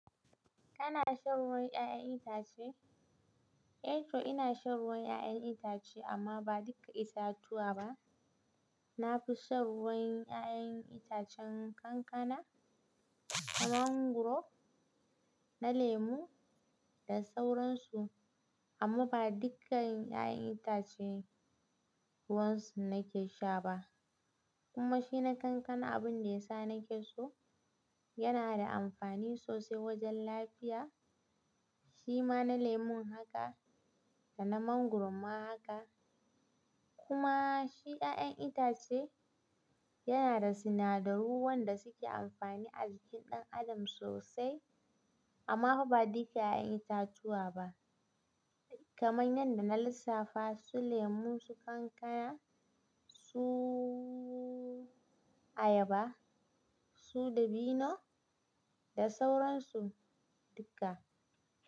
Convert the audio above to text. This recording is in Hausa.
Kana shan ruwan 'ya'yan itace? Eh, to ina shan ruwan 'ya'yan itace amma ba duka itatuwa ba. Na fi shan ruwan 'ya'yan itacen kankana, mangwaro, na lemu da sauransu amma ba dukkan 'ya'yan itace ruwan su nake sha ba. Kuma shi na kankana abin da ya sa nake so, yana da amfani sosai wajen lafiya. Shi ma na lemon haka da na mangwaron ma haka. Kuma shi 'ya'yan itace yana da sinadaru wanda suke amfani a jikin ɗan adam sosai amma fa ba duka 'ya'yan itatuwa ba, kamar yanda na lissafa su lemu, su kankana, su ayaba, su dabino da sauransu duka.